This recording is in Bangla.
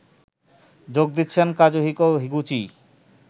যোগ দিচ্ছেন কাজুহিকো হিগুচি